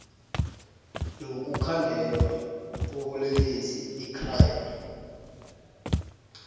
lokukhandelwa kobulelesi icrime